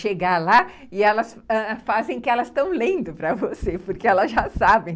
Chegar lá e elas fazem que elas estão lendo para você, porque elas já sabem.